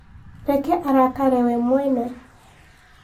Reke arakare we mwene